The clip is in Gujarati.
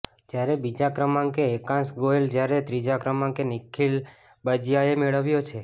જ્યારે બીજા ક્રમાંકે એકાંશ ગોયલ જ્યારે ત્રીજા ક્રમાંકે નીખીલ બાજીયાએ મેળવ્યો છે